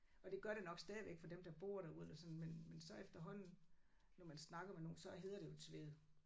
Og det gør det nok stadigvæk for dem der bor derude og sådan men men så efterhånden når man snakker med nogen så hedder det jo Tvede